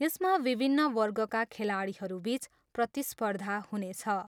यसमा विभिन्न वर्गका खेलाडीहरूबिच प्रतिस्पर्धा हुनेछ।